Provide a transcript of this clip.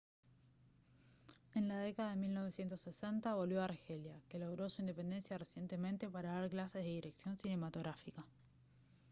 en la década de 1960 volvió a argelia que logró su independencia recientemente para dar clases de dirección cinematográfica